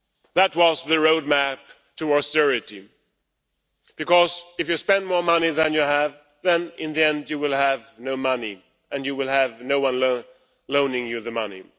That was the road map to austerity because if you spend more money than you have, in the end, you will have no money and you will have no one loaning you the money.